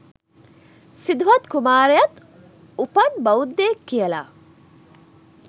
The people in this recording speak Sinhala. සිදුහත් කුමාරයත් උපන් බෞද්ධයෙක් කියලා